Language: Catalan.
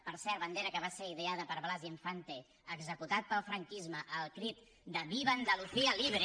per cert bandera que va ser ideada per blas infante executat pel franquisme al crit de viva andalucía libre